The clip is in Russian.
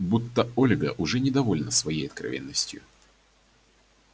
будто ольга уже недовольна своей откровенностью